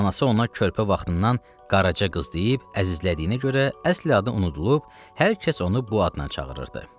Anası ona körpə vaxtından Qaraca qız deyib əzizlədiyinə görə əsl adı unudulub, hər kəs onu bu adla çağırırdı.